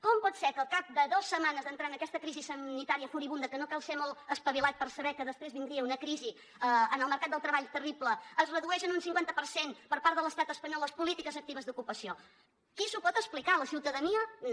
com pot ser que al cap de dues setmanes d’entrar en aquesta crisi sanitària furibunda que no cal ser molt espavilat per saber que després vindria una crisi en el mercat del treball terrible es redueixi en un cinquanta per cent per part de l’estat espanyol les polítiques actives d’ocupació qui s’ho pot explicar la ciutadania no